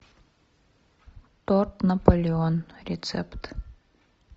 торт наполеон рецепт